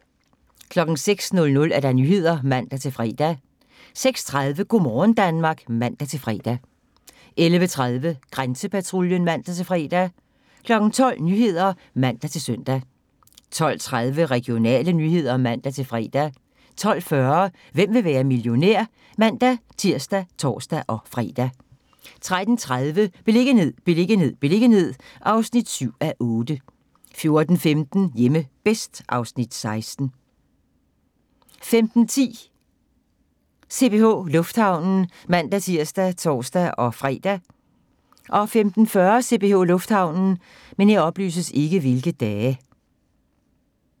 06:00: Nyhederne (man-fre) 06:30: Go' morgen Danmark (man-fre) 11:30: Grænsepatruljen (man-fre) 12:00: Nyhederne (man-søn) 12:30: Regionale nyheder (man-fre) 12:40: Hvem vil være millionær? (man-tir og tor-fre) 13:30: Beliggenhed, beliggenhed, beliggenhed (7:8) 14:15: Hjemme bedst (Afs. 16) 15:10: CPH Lufthavnen (man-tir og tor-fre) 15:40: CPH Lufthavnen